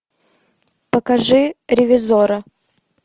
покажи ревизора